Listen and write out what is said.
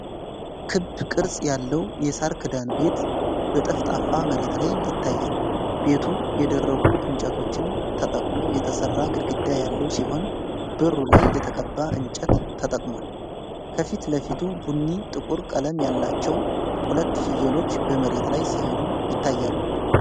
ክብ ቅርጽ ያለው የሳር ክዳን ቤት በጠፍጣፋ መሬት ላይ ይታያል። ቤቱ የደረቁ እንጨቶችን ተጠቅሞ የተሰራ ግድግዳ ያለው ሲሆን፣ በሩ ላይ የተቀባ እንጨት ተጠቅሟል። ከፊት ለፊት ቡኒና ጥቁር ቀለም ያላቸው ሁለት ፍየሎች በመሬት ላይ ሲሄዱ ይታያሉ።